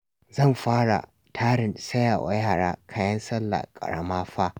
Zan fara tarin saya wa yara kayan Sallah ƙarama fa